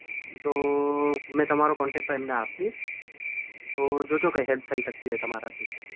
તો મે તમારો contact એમને આપીશ તો જો જો કઈ help થઈ શકતી હોય તમારાથી તો.